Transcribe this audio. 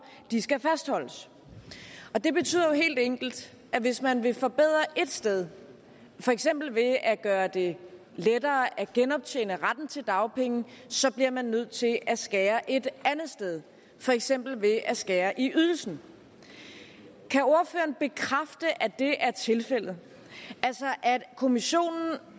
skal fastholdes det betyder jo helt enkelt at hvis man vil forbedre et sted for eksempel ved at gøre det lettere at genoptjene retten til dagpenge bliver man nødt til at skære et andet sted for eksempel ved at skære ned i ydelsen kan ordføreren bekræfte at det er tilfældet altså at kommissionen